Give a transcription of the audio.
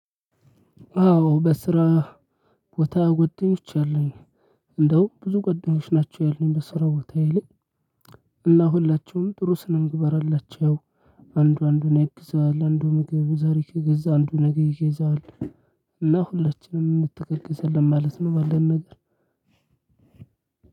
አዎ በስራ ቦታ ጓደኞች አሉኝ። እንደውም ብዙ ጓደኞች ናቸው ያሉኝ በስራ ቦታዬ ላይ። እና ሁላችሁም ጥሩ ስነ ምግባር አላቸው። አንዱ አንዱን ያግዛል አንዱ ምግብ ዛሬ ከገዛ አንዱ ነገ ይገዛል። እና ሁላችንም እንተጋገዛለን ማለት ነው። ባለን ነገር